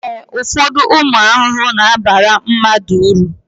ee, ụfọdụ ụmụ ahụhụ na-abara mmadụ uru